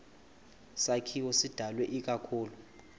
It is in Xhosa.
sakhiwo sidalwe ikakhulu